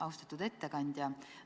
Austatud ettekandja!